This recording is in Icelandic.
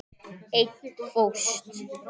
Einn fórst.